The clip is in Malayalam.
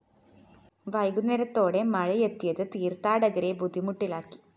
വൈകുന്നേരത്തോടെ മഴയെത്തിയത് തീര്‍ത്ഥാടകരെ ബുദ്ധിമുട്ടിലാക്കി